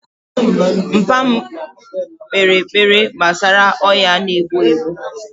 Mpa mu kpere ekpere gbasara ọya na egbu egbu